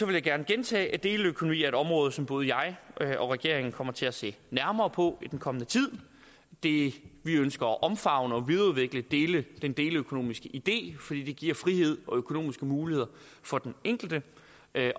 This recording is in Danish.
jeg gerne gentage at deleøkonomi er et område som både jeg og regeringen kommer til at se nærmere på i den kommende tid vi ønsker at omfavne og videreudvikle den deleøkonomiske idé fordi den giver frihed og økonomiske muligheder for den enkelte